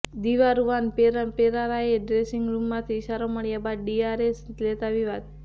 દિલરુવાન પરેરાએ ડ્રેસિંગ રૂમમાંથી ઇશારો મળ્યા બાદ ડીઆરએસ લેતાં વિવાદ